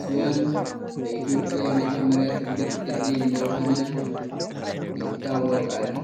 ሲሆን ። በኢትዮጵያ የመጀመርያ ትልቅ ድልድይ እንደሆነ ይታወቃል ።